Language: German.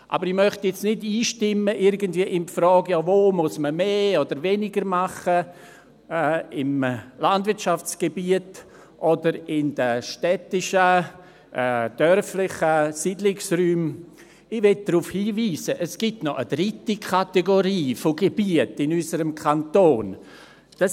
Aber ich möchte jetzt nicht irgendwie einstimmen in die Frage, «Wo muss man mehr oder weniger tun, im Landwirtschaftsgebiet oder in den städtischen und dörflichen Siedlungsräumen?», sondern möchte darauf hinweisen, dass es noch eine dritte Kategorie von Gebieten in unserem Kanton gibt.